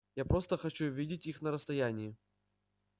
я просто хочу видеть их на расстоянии